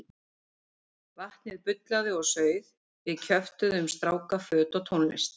Vatnið bullaði og sauð, við kjöftuðum um stráka, föt og tónlist.